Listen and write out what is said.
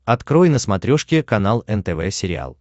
открой на смотрешке канал нтв сериал